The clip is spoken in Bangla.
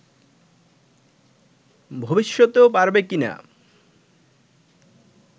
ভবিষ্যতেও পারবে কি-না